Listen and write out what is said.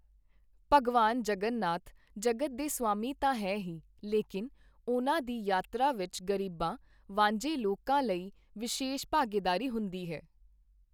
ਭਗਵਾਨ ਜਗਨਨਾਥ ਜਗਤ ਦੇ ਸਵਾਮੀ ਤਾਂ ਹੈਣ ਹੀ, ਲੇਕਿਨ ਉਨ੍ਹਾਂ ਦੀ ਯਾਤਰਾ ਵਿੱਚ ਗ਼ਰੀਬਾਂ, ਵਾਂਝੇ ਲੋਕਾਂ ਲਈ ਵਿਸ਼ੇਸ਼ ਭਾਗੀਦਾਰੀ ਹੁੰਦੀ ਹੈ।